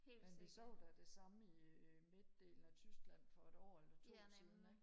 men vi så da det samme i øh midtdelen af tyskland for et år eller to siden ikke